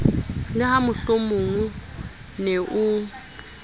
le ha mohlomongo ne o